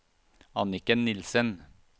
Anniken Nielsen